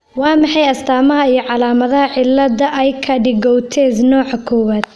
Waa maxay astamaha iyo calaamadaha cilada Aicardi Goutieres nooca kowaad?